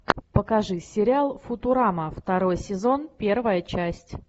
покажи сериал футурама второй сезон первая часть